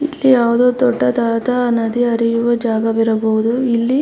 ಇಲ್ಲಿ ಯಾವ್ದೋ ದೊಡ್ಡದಾದ ನದಿ ಹರಿಯುವ ಜಾಗ ವಿರಬಹುದು ಇಲ್ಲಿ--